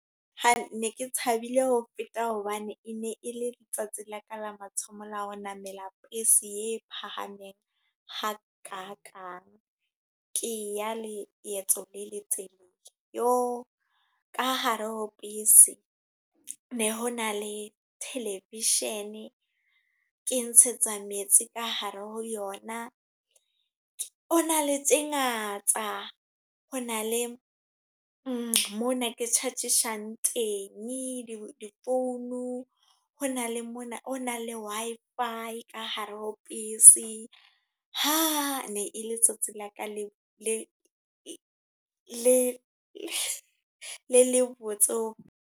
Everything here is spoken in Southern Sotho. Ha ne ke thabile ho feta hobane, e ne e le letsatsi la ka la mathomo la ho namela bese ye phahameng ha ka kang. Ke ya le phephetso le letshehadi. Yo! Ka hare ho bese, ne ho na le television, ke ntshetsa metsi ka hare ho yona. Ho na le tse ngata. Ho na le mona ke charge-tsang teng di-phone. Ho na le mona, ho na le Wi-Fi ka hare ho bese. Ha! Ne le letsatsi la ka le botse.